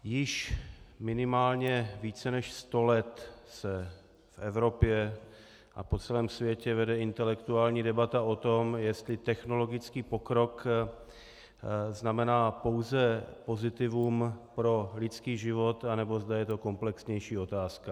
Již minimálně více než sto let se v Evropě a po celém světě vede intelektuální debata o tom, jestli technologický pokrok znamená pouze pozitivum pro lidský život, anebo zda je to komplexnější otázka.